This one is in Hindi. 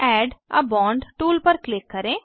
एड आ बोंड टूल पर क्लिक करें